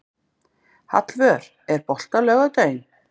Hallvör, er bolti á laugardaginn?